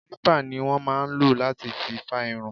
Kilipa ni wọn máa ń ló láti fi fa irun.